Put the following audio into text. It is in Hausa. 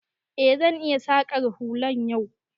E, zan iya saƙan hular yau.